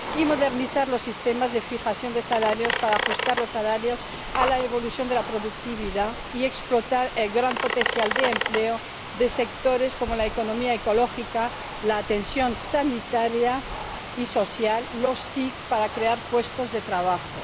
y modernizar los sistemas de fijación de salarios para ajustarlos a la evolución de la productividad, y explotar el gran potencial de empleo de sectores como la economía ecológica, la atención sanitaria y social y las TIC para crear puestos de trabajo.